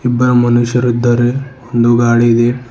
ಇಬ್ಬರು ಮನುಷ್ಯರು ಇದ್ದಾರೆ ಒಂದು ಗಾಡಿ ಇದೆ.